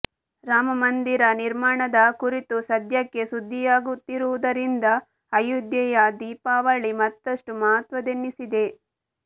ರಾಮಮಂದಿರ ನಿರ್ಮಾಣದ ಕುರಿತೂ ಸದ್ಯಕ್ಕೆ ಸುದ್ದಿಯಾಗುತ್ತಿರುವುದರಿಂದ ಅಯೋಧ್ಯೆಯ ದೀಪಾವಳಿ ಮತ್ತಷ್ಟು ಮಹತ್ವದ್ದೆನ್ನಿಸಿದೆ